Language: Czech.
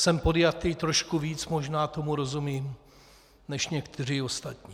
Jsem podjatý, trošku víc možná tomu rozumím než někteří ostatní.